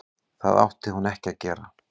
Það átti hún ekki að gera.